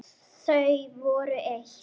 Þau voru eitt.